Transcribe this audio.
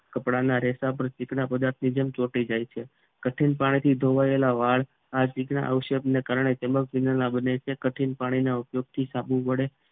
કપડાં ના રહેતા ચીકણા પદાર્થ ની જેમ ચોંટી જાય છે કઠિન પાણીથી ધોવાયેલા વાળ આ ચીકણા આક્ષેપ ના કારણે સેમ્બલ કેનાલ ના બને છે કઠિન પાણીના ઉપયોગથી સાબુ વડે